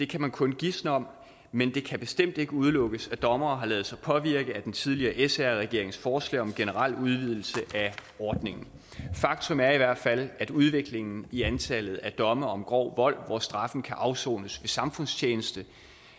kan man kun gisne om men det kan bestemt ikke udelukkes at dommerne har ladet sig påvirke at den tidligere sr regerings forslag om generel udvidelse af ordningen faktum er i hvert fald at udviklingen i antallet af domme om grov vold hvor straffen kan afsones ved samfundstjeneste